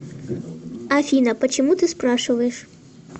афина почему ты спрашиваешь